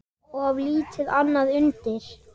Of lítið annað undir.